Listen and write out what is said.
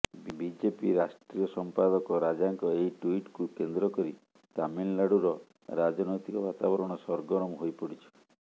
BJP ରାଷ୍ଟ୍ରୀୟ ସଂପାଦକ ରାଜାଙ୍କ ଏହି ଟୁଇଟ୍କୁ କେନ୍ଦ୍ର କରି ତାମିଲନାଡ଼ୁର ରାଜନୈତିକ ବାତାବରଣ ସରଗରମ ହୋଇପଡ଼ିଛି